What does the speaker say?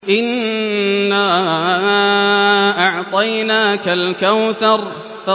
إِنَّا أَعْطَيْنَاكَ الْكَوْثَرَ